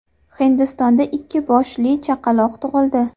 Hindistonda ikki boshli chaqaloq tug‘ildi.